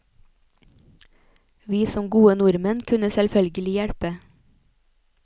Vi som gode nordmenn kunne selvfølgelig hjelpe.